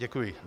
Děkuji.